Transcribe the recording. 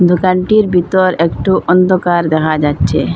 দোকানটির বিতর একটু অন্দকার দেখা যাচ্ছে।